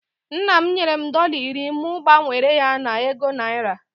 Nna m nyere m dọla iri mụ gbanwere ya na ego naira